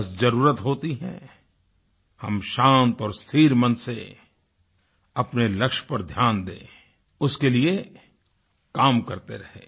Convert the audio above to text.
बस ज़रूरत होती है हम शांत और स्थिर मन से अपने लक्ष्य पर ध्यान दें उसके लिए काम करते रहें